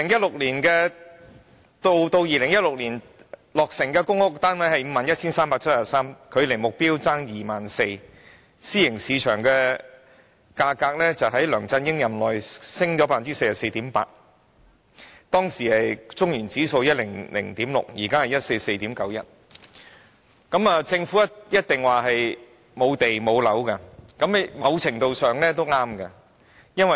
截至2016年落成的公屋單位是 51,373 個，距離目標欠 24,000 個，私營市場物業價格在梁振英任內上升 44.8%， 而當時的中原城市領先指數是 100.6， 現在則是 144.91。